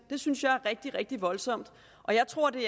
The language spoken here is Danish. det synes jeg er rigtig rigtig voldsomt og jeg tror at det